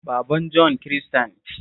Baban Jon Kirista ne